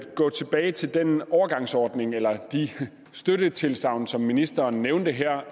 gå tilbage til den overgangsordning eller de støttetilsagn som ministeren nævnte her